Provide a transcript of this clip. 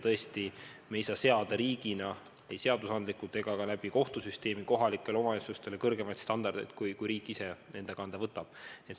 Tõesti me ei saa seada riigina ei seadusandlikult ega ka kohtusüsteemi kaudu kohalikele omavalitsustele kõrgemaid standardeid, kui riik enda kanda võtab.